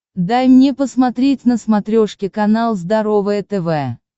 дай мне посмотреть на смотрешке канал здоровое тв